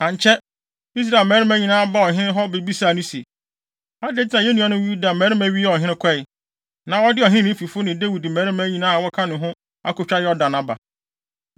Ankyɛ, Israel mmarima nyinaa baa ɔhene hɔ bebisaa no se, “Adɛn nti na yɛn nuanom Yuda mmarima wiaa ɔhene kɔe, na wɔde Ɔhene ne ne fifo ne Dawid mmarima nyinaa a wɔka ne ho no akotwa Yordan aba?”